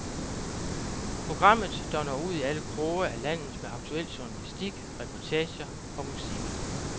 Programmet, der når ud i alle kroge af landet med aktuel journalistik, reportager og musik.